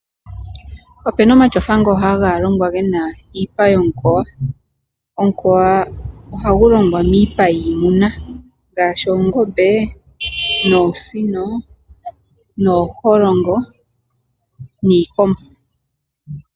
Opuna omatyofa ngo ha ga longwa gena iipa yomukoya. Omukoya ohagu longwa miipa yiimuna ngaashi oongombe, oosino, ooholongo niikombo.